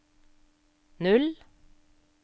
null